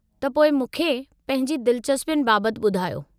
त पोइ, मूंखे पंहिंजी दिलिचस्पियुनि बाबतु ॿुधायो।